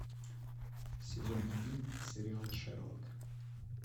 сезон один сериал шерлок